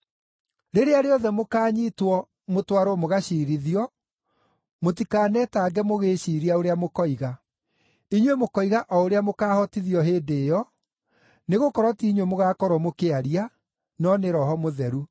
Rĩrĩa rĩothe mũkaanyiitwo mũtwarwo mũgaciirithio, mũtikanetange mũgĩĩciiria ũrĩa mũkoiga. Inyuĩ mũkoiga o ũrĩa mũkaahotithio hĩndĩ ĩyo, nĩgũkorwo ti inyuĩ mũgaakorwo mũkĩaria, no nĩ Roho mũtheru.